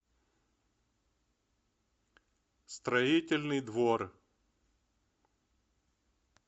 строительный двор